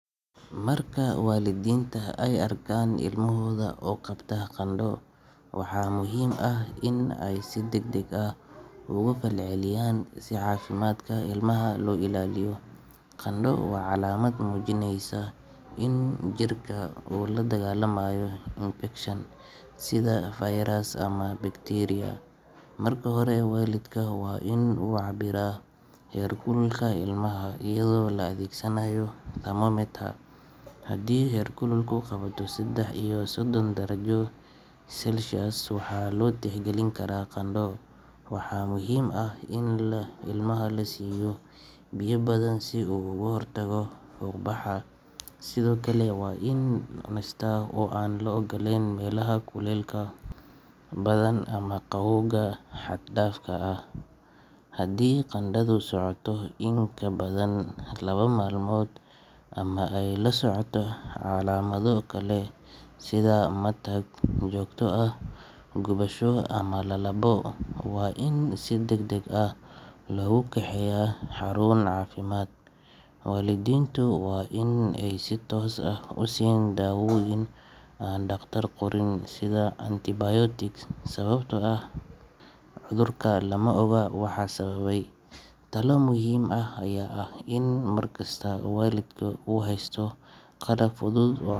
Marka waalidiinta ay arkaan ilmahooda oo qabta qandho, waxaa muhiim ah in ay si degdeg ah uga falceliyaan si caafimaadka ilmaha loo ilaaliyo. Qandho waa calaamad muujinaysa in jirka uu la dagaallamayo infekshan, sida fayras ama bakteeriya. Marka hore, waalidku waa in uu cabbiraa heerkulka ilmaha iyadoo la adeegsanayo thermometer, haddii heerkulku ka bato saddex iyo soddon darajo Celsius, waxaa loo tixgelin karaa qandho. Waxaa muhiim ah in ilmaha la siiyo biyo badan si uu uga hortago fuuq baxa, sidoo kale waa in uu nastaa oo aan la geyn meelaha kulaylka badan ama qabowga xad-dhaafka ah. Haddii qandhadu socoto in ka badan laba maalmood ama ay la socoto calaamado kale sida matag, matag joogto ah, gubasho ama lalabbo, waa in si degdeg ah loogu kaxeeyaa xarun caafimaad. Waalidiintu waa in aysan si toos ah u siin daawooyin aan dhakhtar qorin sida antibiotics sababtoo ah cudurka lama oga waxa sababay. Talo muhiim ah ayaa ah in mar kasta waalidka uu haysto qalab fudud oo.